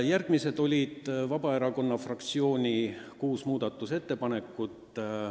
Järgmised olid kuus Vabaerakonna fraktsiooni muudatusettepanekut.